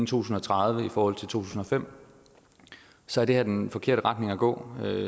tusind og tredive i forhold til to tusind og fem så er det her den forkerte retning at gå